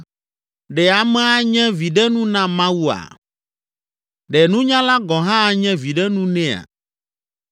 “Ɖe ame anye viɖenu na Mawua? Ɖe nunyala gɔ̃ hã anye viɖenu nɛa?